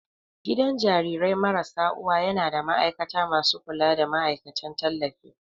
Gidan jarirai marasa uwa yana da ma'aikata masu kulawa da ma'aikatan tallafi.